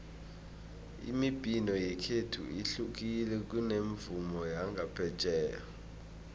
imibhino yekhethu ihlukile kunomvumo wangaphetjheya